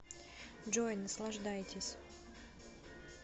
джой наслаждайтесь